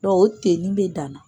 o bɛ dan na